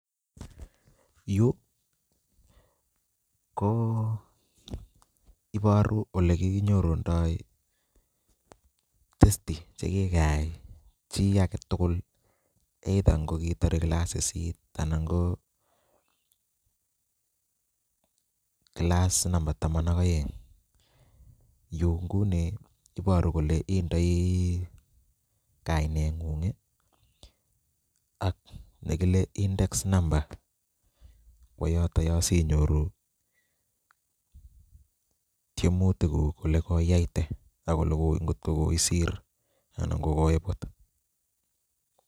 Yuu ko iboru olekinyorundo test chekikayai chii aketukul either ng'okiitore kilasitab sisit anan ko kilasit nombo taman ak oeng, yuu ng'uni iboru kolee indoi kaineng'ung ak yekile index number kwoo yoto yoo sinyoru tiemutikuk olekoiyaite ak olee ng'okoisir anan ng'okoibut.